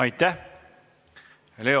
Aitäh!